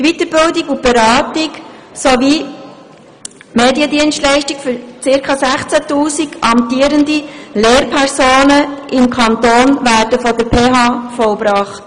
Die Weiterbildung und Beratung sowie die Mediendienstleistungen für ca. 16 000 amtierende Lehrpersonen im Kanton werden von der PHBern erbracht.